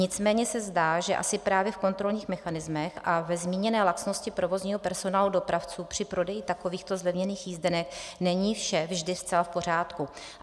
Nicméně se zdá, že asi právě v kontrolních mechanismech a ve zmíněné laxnosti provozního personálu dopravců při prodeji takovýchto zlevněných jízdenek není vše vždy zcela v pořádku.